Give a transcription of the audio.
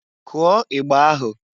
Kụọ igba ahụ!